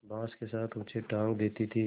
बाँस के साथ ऊँचे टाँग देती थी